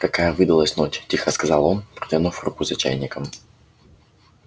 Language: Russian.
такая выдалась ночь тихо сказал он протянув руку за чайником